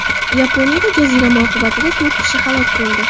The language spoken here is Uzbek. Yaponiyada jazirama oqibatida to‘rt kishi halok bo‘ldi.